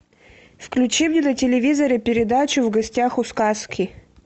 включи мне на телевизоре передачу в гостях у сказки